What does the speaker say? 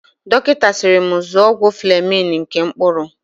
Dọkịta siiri m zụrụ ọgwụ Flemin nke mkpụrụ.